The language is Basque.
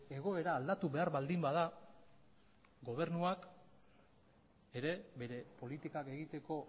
egoera aldatu behar baldin bada gobernuak ere bere politikak egiteko